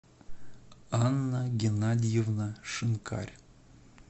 анна геннадьевна шинкарь